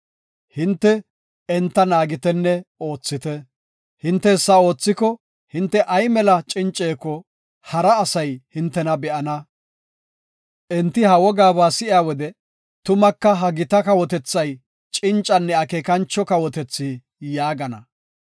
Hinte enta naagitenne oothite. Hinte hessa oothiko, hinte ay mela cinceko hara asay hintena be7ana. Enti ha wogabaa si7iya wode, “Tumaka ha gita kawotethay cincanne akeekancho kawotethi” yaagana.